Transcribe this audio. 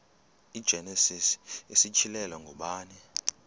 igenesis isityhilelo ngubani